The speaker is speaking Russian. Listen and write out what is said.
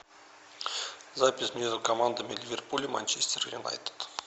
запись между командами ливерпуля и манчестер юнайтед